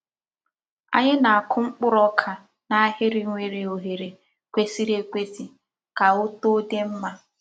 Ányị na-akụ mkpụrụ ọ́ka n’ahịrị nwere oghere kwesị̀rị̀ ekwèsị̀ ka otoo dị mma.